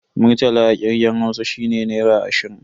Murtala a kirgen Hausa shine Naira ashirin.